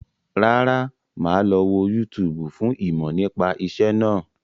Rárá, máa lọ wo yútúúbù fún ìmọ̀ nípa ìṣẹ́ náà.